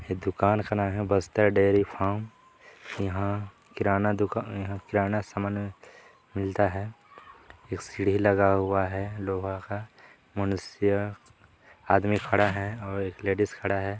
एक दुकान खना है बस्तर डेयरी फार्म इहां किराना दुकान उगाने इहा किराना समान मिलता है एक सीढ़ी लगा हुआ है लोहा का मनुष्य आदमी खड़ा है और एक लेडिस खड़ी हैं।